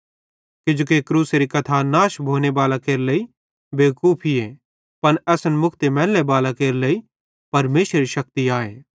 किजोकि क्रूसेरी कथा नाश भोने भालां केरे लेइ बेवकूफीए पन असन मुक्ति मैलने बालां केरे लेइ परमेशरेरी शक्ति आए